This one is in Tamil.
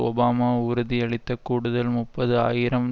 ஒபாமா உறுதியளித்து கூடுதல் முப்பது ஆயிரம்